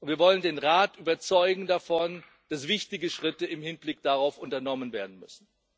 Und wir wollen den Rat davon überzeugen, dass wichtige Schritte im Hinblick darauf unternommen werden müssen.